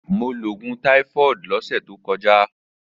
Mo lo oogun typhoid ni ọsẹ to kọja.